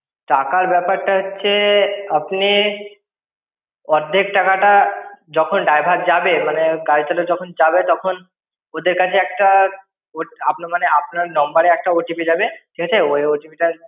টাকার ব্যাপারটা হচ্ছে, আপনি অর্ধেক টাকাটা, যখন ড্রাইভার যাবে, মানে গাড়ির চালক যখন যাবে, তখন ওদের কাছে একটা মানে, আপনার নম্বরে একটা OTP যাবে, ঠিক আছে? ওই OTP টা।